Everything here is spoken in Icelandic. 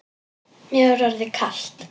Mér var orðið kalt.